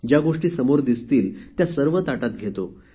ज्या गोष्टी समोर दिसतील त्या सर्व ताटात घेतो